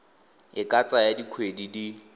e ka tsaya dikgwedi di